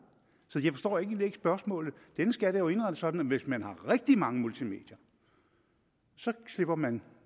så jeg forstår egentlig ikke spørgsmålet denne skat er jo indrettet sådan at hvis man har rigtig mange multimedier så slipper man